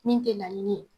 Min tɛ laɲini ye